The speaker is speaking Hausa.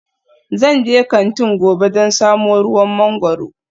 Zan je kantin gobe don samo ruwan mangwaro